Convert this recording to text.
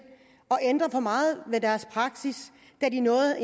at ændre for meget ved deres praksis da de er nået